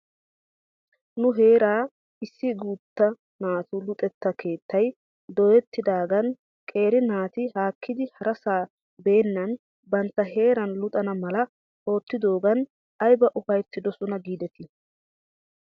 Nu heera issi guutta naatu luxetta keettay dooyettidaagan qeeri naati haakkidi harasaa beennan bantta heeran luxana mala oottidoogan ayba ufayttidosona giidetii?